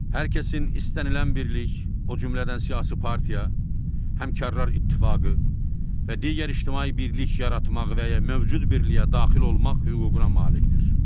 Hər kəsin istənilən birlik, o cümlədən siyasi partiya, həmkarlar ittifaqı və digər ictimai birlik yaratmaq və ya mövcud birliyə daxil olmaq hüququna malikdir.